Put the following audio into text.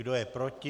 Kdo je proti?